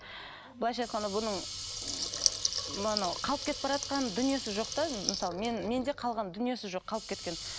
былайша айтқанда бұның м анау қалып кетіп бараатқан дүниесі жоқ та мысалы мен менде қалған дүниесі жоқ қалып кеткен